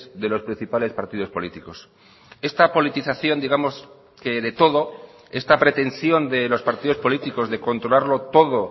de los principales partidos políticos esta politización digamos que de todo esta pretensión de los partidos políticos de controlarlo todo